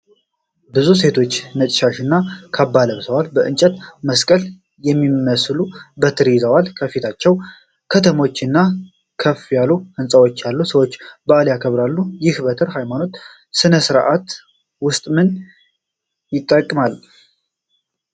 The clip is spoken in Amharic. ብዙ ሴቶች ነጭ ሻሽ እና ካባ ለብሰው፣ የእንጨት መስቀል የሚመስሉ በትር ይዘዋል። ከፊታቸው ከተሞች እና ከፍ ያሉ ሕንጻዎች አሉ፣ ሰዎች በዓሉን ያከብራሉ። ይህ በትር በሃይማኖታዊ ሥነ ሥርዓት ውስጥ ምን ይጠቅማል?